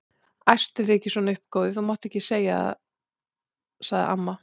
Æstu þig ekki svona upp góði, þú mátt það ekki sagði amma.